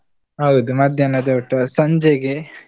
ಹೌದು ಮಧ್ಯಾಹ್ನದ ಊಟ, ಸಂಜೆಗೆ?